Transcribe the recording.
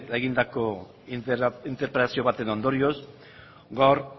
egindako interpelazio baten ondorioz gaur